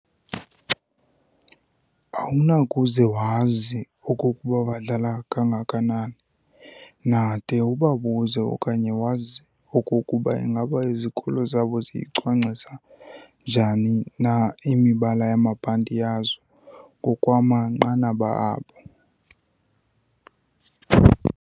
Awunakuze wazi okokuba badlala kangakanani na de ubabuze okanye wazi okokuba ingaba izikolo zabo ziyicwangcisa njani na imibala yamabhanti yazo ngokwamanqanaba abo.